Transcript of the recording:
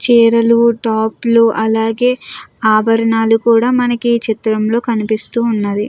చీరలు టాప్లు అలాగే ఆభరణాలు కూడా మనకి చిత్రంలో కనిపిస్తూ ఉన్నది.